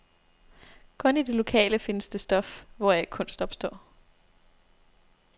Kun i det lokale findes det stof, hvoraf kunst opstår.